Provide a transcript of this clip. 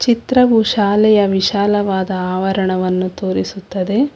ಚಿತ್ರವು ಶಾಲೆಯ ವಿಶಾಲವಾದ ಆವರಣವನ್ನು ತೋರಿಸುತ್ತದೆ.